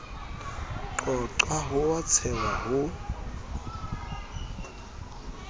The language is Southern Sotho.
qoqwa ho a tshehwa ho